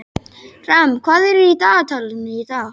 Ram, hvað er í dagatalinu í dag?